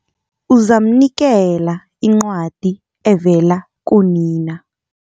Uzamnikela incwadi evela kunina.